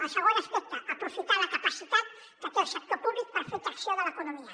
el segon aspecte aprofitar la capacitat que té el sector públic per fer tracció de l’economia